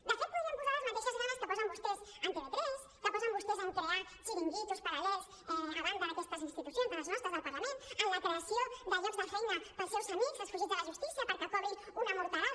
de fet hi podrien posar les mateixes ganes que posen vostès en tv3 que posen vostès en crear xiringuitos paral·lels a banda d’aquestes institucions de les nostres del parlament en la creació de llocs de feina per als seus amics els fugits de la justícia perquè cobrin una morterada